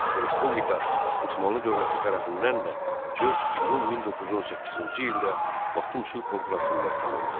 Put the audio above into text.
Bu Respublika Osmanlı Dövləti tərəfindən də 4 iyun 1918-ci ildə Batum sülh konfransında tanındı.